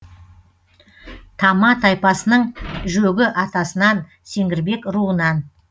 тама тайпасының жөгі атасынан сеңгірбек руынан